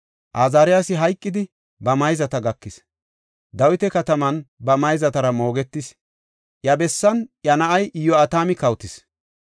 Azaariyasi hayqidi, ba mayzata gakis; Dawita Kataman ba mayzatara moogetis. Iya bessan iya na7ay Iyo7atami kawotis.